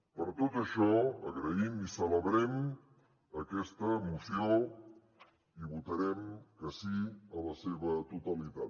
per tot això agraïm i celebrem aquesta moció i votarem que sí a la seva totalitat